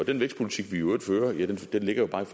den vækstpolitik vi i øvrigt fører ligger jo bare i